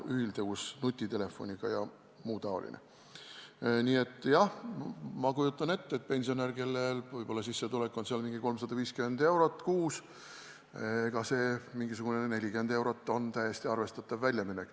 Nii et jah, ma kujutan ette, et pensionärile, kellel sissetulek on mingi 350 eurot kuus, on see 40 eurot on täiesti arvestatav väljaminek.